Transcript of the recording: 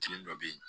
Kelen dɔ bɛ yen